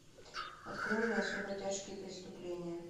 открой мне особо тяжкие преступления